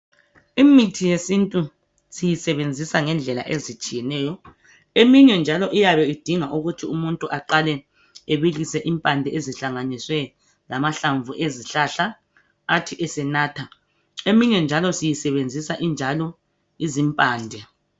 Imithi yesintu siyisebenzisa ngendlela ezitshiyeneyo , eminye njalo iyabe idinga ukuthi umuntu aqale ebilise impande ezihlanganiswe lamahlamvu ezihlahla athize senatha , eminye njalo siyisebenzisa injalo izimpande